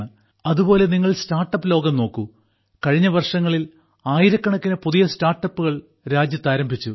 അതുപോലെ നിങ്ങൾ സ്റ്റാർട്ടപ് ലോകം നോക്കൂ കഴിഞ്ഞ വർഷങ്ങളിൽ ആയിരക്കണക്കിന് പുതിയ സ്റ്റാർട്ടപ്പുകൾ രാജ്യത്ത് ആരംഭിച്ചു